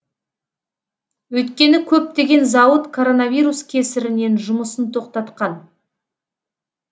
өйткені көптеген зауыт коронавирус кесірінен жұмысын тоқтатқан